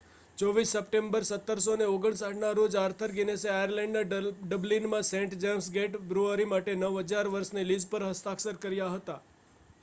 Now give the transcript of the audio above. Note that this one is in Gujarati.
24 સપ્ટેમ્બર 1759 ના રોજ આર્થર ગિનીસે આયર્લેન્ડના ડબલિનમાં સેન્ટ જેમ્સ ગેટ બ્રૂઅરી માટે 9,000 વર્ષની લીઝ પર હસ્તાક્ષર કર્યા હતા